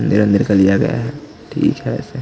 अंदर ही अंदर का लिया गया है ठीक है वैसे--